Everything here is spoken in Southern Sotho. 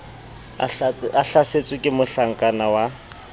a hlasetswe ke mohlakana wa